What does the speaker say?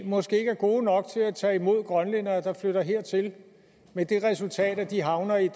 måske ikke er gode nok til at tage imod grønlændere der flytter hertil med det resultat at de havner i